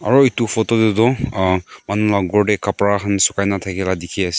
aro etu photo dae tho manu la kor dae kabra kan sukai na takila tiki ase.